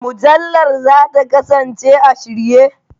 Mujallar za ta kasance a shirye.